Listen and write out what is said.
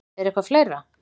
Er eitthvað fleira?